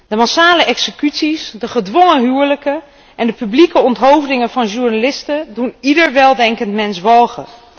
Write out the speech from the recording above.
De massale executies, de gedwongen huwelijken en de publieke onthoofdingen van journalisten doen ieder weldenkend mens walgen.